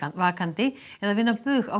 vakandi eða vinna bug á